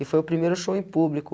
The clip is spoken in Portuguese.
E foi o primeiro show em público.